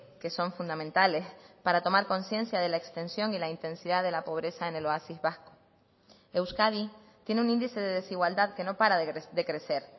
que son fundamentales para tomar conciencia de la extensión y la intensidad de la pobreza en el oasis vasco euskadi tiene un índice de desigualdad que no para de crecer